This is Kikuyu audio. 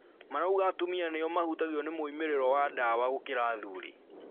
Marauga atumia nĩo mahutagio nĩ moimĩrĩro ya ndawa gũkĩra athuri